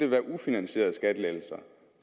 været ufinansierede skattelettelser